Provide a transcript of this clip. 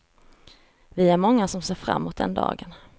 Vi är många som ser fram mot den dagen.